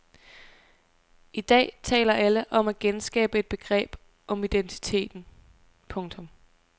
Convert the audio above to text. I dag taler alle om at genskabe et begreb om identiteten. punktum